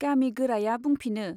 गामि गोराया बुंफिनो।